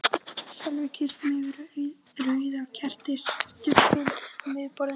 Við Sölvi kysstumst yfir rauða kertisstubbinn á miðju borðinu.